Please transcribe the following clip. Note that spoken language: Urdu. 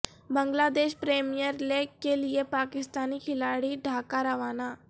بنگلہ دیش پریمیئر لیگ کیلئے پاکستانی کھلاڑی ڈھاکا روانہ